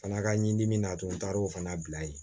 Fana ka ɲi dimi na a to n taar'o fana bila yen